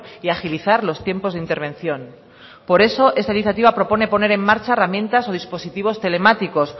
y agilizar los tiempos de intervención por eso esta iniciativa propone poner en marcha herramientas o dispositivos telemáticos